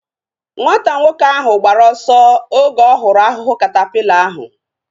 Nwata nwoke ahu gbara ọsọ oge ọ hụrụ ahụhụ katapila ahu